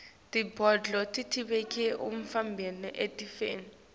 tibhidvo tivikela umtimba etifeni